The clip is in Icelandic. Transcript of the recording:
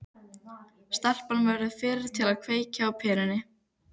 Stelpan verður fyrri til að kveikja á perunni.